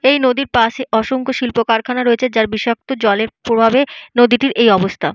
এই নদীর পাশে অসংখ্য শিল্প কারখানা রয়েছে যার বিষাক্ত জলের প্রভাবে নদীটির এই অবস্থা।